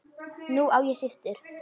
Nú á ég systur.